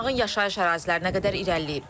Yanğın yaşayış ərazilərinə qədər irəliləyib.